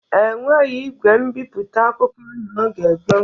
E nweghi igwe mbiputa akwụkwọ n'oge gboo.